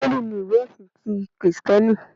Bíbélì ni ìwé ẹ̀sin ti Kìrìsìtíẹ́nì